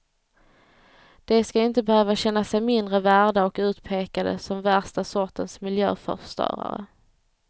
De ska inte behöva känna sig mindre värda, och utpekade som värsta sortens miljöförstörare.